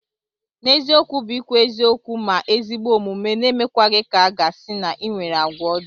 N'eziokwu bu ikwu eziokwu ma ezigbo omume n'emekwaghi ka aga si na inwere agwa ojo.